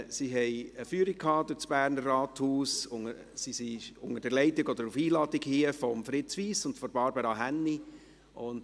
Sie haben eine Führung durch das Berner Rathaus gehabt und sind auf Einladung von Fritz Wyss und Barbara Hänni hier.